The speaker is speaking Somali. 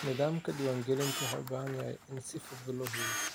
Nidaamka diiwaangelintu waxa uu u baahan yahay in si fudud loo habeeyo.